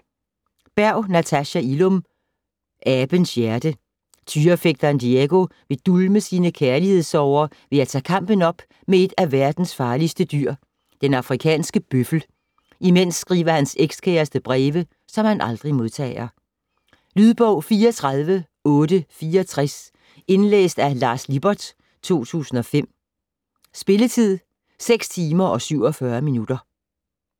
Berg, Natasha Illum: Abens hjerte Tyrefægteren Diego vil dulme sine kærlighedssorger ved at tage kampen op med et af verdens farligste dyr, den afrikanske bøffel. Imens skriver hans ekskæreste breve, som han aldrig modtager. Lydbog 34864 Indlæst af Lars Lippert, 2005. Spilletid: 6 timer, 47 minutter.